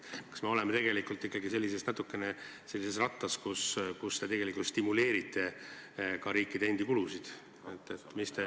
Kas me oleme natukene nagu sellises rattas, kus te tegelikult stimuleerite riikide enda kulusid?